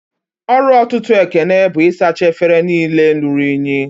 Ọrụ ọtụtụ Ekene bụ isacha efere niile rụrụ unyi